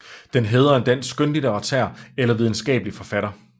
Den hædrer en dansk skønlitterær eller videnskabelig forfatter